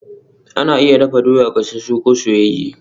Ana iya dafa doya, gasasu ko soyayye